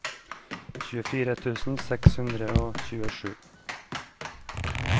tjuefire tusen seks hundre og tjuesju